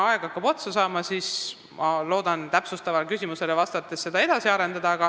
Aeg hakkab otsa saama, ma loodan täpsustavale küsimusele vastates seda teemat edasi arendada.